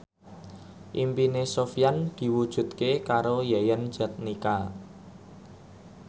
impine Sofyan diwujudke karo Yayan Jatnika